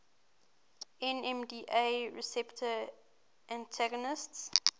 nmda receptor antagonists